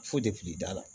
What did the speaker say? Fo fili da la